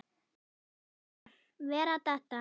Vera að detta.